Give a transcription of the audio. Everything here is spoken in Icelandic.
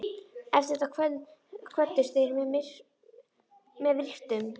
Eftir þetta kvöddust þeir með virktum.